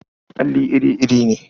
Alli iri-iri ne.